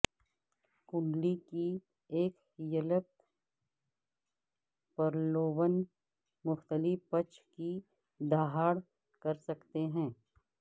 کنڈلی کی ایک یلک پرلوبن مختلف پچ کی دہاڑ کر سکتے ہیں